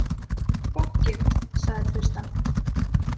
Fokkit, sagði Tristan.